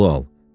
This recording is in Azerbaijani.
Pulu al.